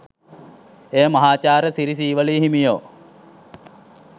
එය මහාචාර්ය සිරි සීවලී හිමියෝ